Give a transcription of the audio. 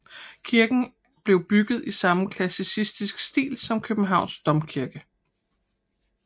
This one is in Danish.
Kirken blev bygget i samme klassicistiske stil som Københavns domkirke